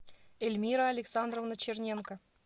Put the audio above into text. эльмира александровна черненко